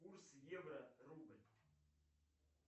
курс евро рубль